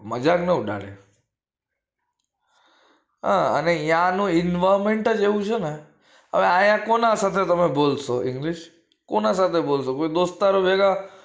મજાક ના ઉડાડે હ યાનું environment એવું છે ને અયા કોની સાથે તમે બોલશો english કુના સાથે બોલશો કોઈ દોસ્તારો ભેગા